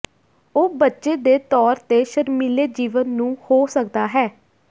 ਉਹ ਬੱਚੇ ਦੇ ਤੌਰ ਤੇ ਸ਼ਰਮੀਲੇ ਜੀਵਨ ਨੂੰ ਹੋ ਸਕਦਾ ਹੈ